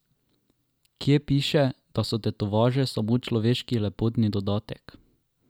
Kje piše, da so tetovaže samo človeški lepotni dodatek?